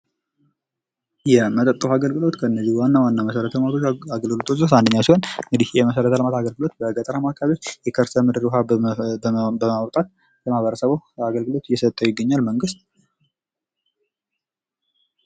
የመጠጥ ዉሃ አገልግሎት ከእነዚህ ዋና ዋና መሰረተ ልማት አገልግሎት አንደኛው ሲሆን እንግዲህ ይህ የመሰረተ ልማት አገልግሎት በገጠር አማካሪዎች የቅርስ ምድር ውሃ በማውጣት ለማበረሰቡ አገልግሎት እየሰጠ ይገኛል መንግስት።